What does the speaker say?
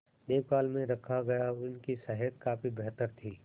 देखभाल में रखा गया उनकी सेहत काफी बेहतर थी